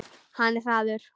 Hann er hraður.